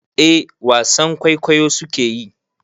Eh wasan kwaikwayo su ke yi.